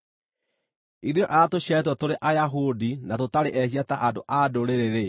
“Ithuĩ arĩa tũciarĩtwo tũrĩ Ayahudi na tũtarĩ ehia ta andũ-a-Ndũrĩrĩ-rĩ,